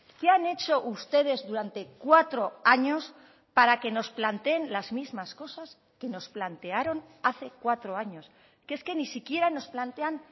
qué han hecho ustedes durante cuatro años para que nos planteen las mismas cosas que nos plantearon hace cuatro años que es que ni siquiera nos plantean